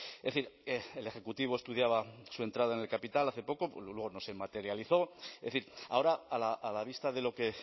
es decir el ejecutivo estudiaba su entrada en el capital hace poco luego no se materializó es decir ahora a la vista de lo que